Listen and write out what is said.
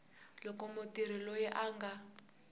loko mutirhi loyi a nga